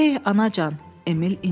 Ey anacan, Emil incidi.